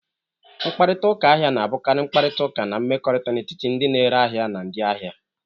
Mkparịta ụka ahịa na-abụkarị mkparịta ụka na mmekọrịta n'etiti ndị na-ere ahịa na ndị ahịa.